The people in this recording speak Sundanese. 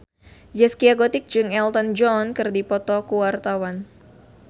Zaskia Gotik jeung Elton John keur dipoto ku wartawan